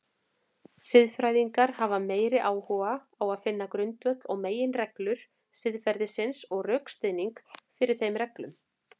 Siðfræðingar hafa meiri áhuga á finna grundvöll og meginreglur siðferðisins og rökstuðning fyrir þeim reglum.